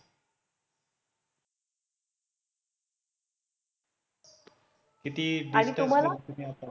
किती आणि तुम्हाला